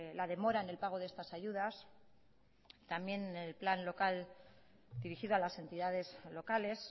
la demora en el pago de estas ayudas también el plan local dirigido a las entidades locales